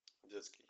детский